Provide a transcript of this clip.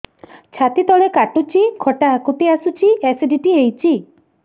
ଛାତି ତଳେ କାଟୁଚି ଖଟା ହାକୁଟି ଆସୁଚି ଏସିଡିଟି ହେଇଚି